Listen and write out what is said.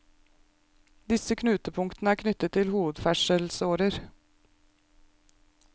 Disse knutepunktene er knyttet til hovedferdselsårer.